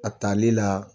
A tali la